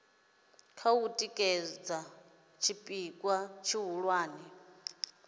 kha u tikedza tshipikwa tshihulwane